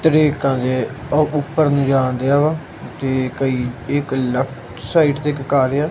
ਤਰੇਕਾ ਜੇ ਉਹ ਉੱਪਰ ਨੂੰ ਜਾਨ ਦਿਆ ਵਾ ਤੇ ਕਈ ਇੱਕ ਲੈਫਟ ਸਾਈਡ ਤੇ ਇੱਕ ਘਰ ਆ।